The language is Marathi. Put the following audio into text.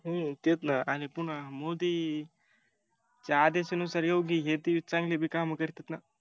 हूं तेच ना आणि पून्हा मोदीं च्या आदेशा नुुसार योग्या ती चांगली ती काम करत्यात ना